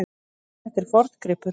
Þetta er forngripur.